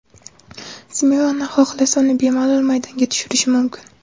Simeone xohlasa, uni bemalol maydonga tushirishi mumkin.